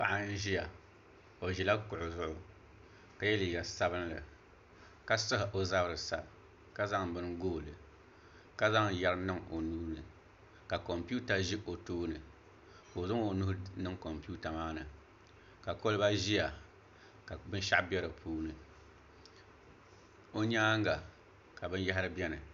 Paɣa n ʒiya o ʒila kuɣu zuɣu ka yɛ liiga sabinli ka sahi o zabiri sa ka zaŋ bini gooli ka zaŋ yɛri niŋ o nuuni ka kompiuta ʒi o tooni ka o zaŋ o nuhi niŋ kompiuta maa ni ka kolba ʒiya ka binshaɣu bɛ di puuni o nyaanga ka binyahari biɛni